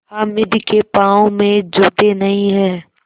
हामिद के पाँव में जूते नहीं हैं